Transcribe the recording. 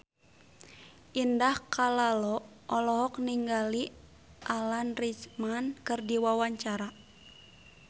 Indah Kalalo olohok ningali Alan Rickman keur diwawancara